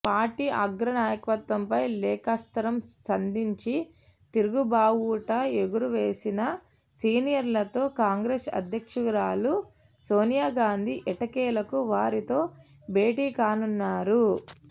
party అగ్రనాయకత్వంపై లేఖాస్త్రం సంధించి తిరుగుబావుటా ఎగురువేసిన సీనియర్లతో కాంగ్రెస్ అధ్యక్షురాలు సోనియాగాంధీ ఎట్టకేలకు వారితో భేటీకానున్నారు